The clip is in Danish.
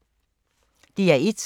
DR1